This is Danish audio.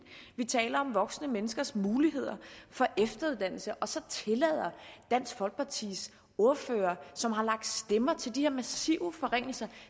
vi taler om voksne menneskers muligheder for efteruddannelse og så tillader dansk folkepartis ordfører som har lagt stemme til de her massive forringelser